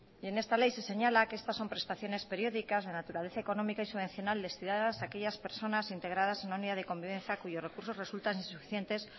en esta ley se señala que estas son prestaciones periódicas de naturaleza económica y subvencional destinadas a aquellas personas integradas en una unidad de convivencia cuyos recursos resultan insuficientes